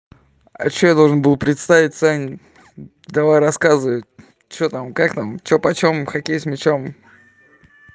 а что я должен был представить сань давай рассказывай что там как там что почём хоккей с мячом